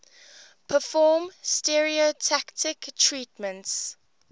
perform stereotactic treatments